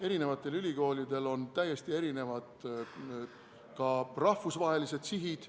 Eri ülikoolidel on ka täiesti erinevad rahvusvahelised sihid.